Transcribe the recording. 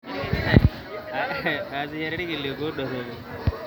Aasishore irkiliku dorropu.